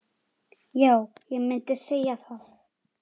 Já, ég myndi segja það.